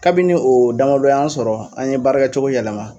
Kabini o damadɔ y'an sɔrɔ an ye baarakɛ cogo yɛlɛma.